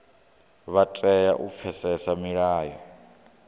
vha tea u pfesesa milayo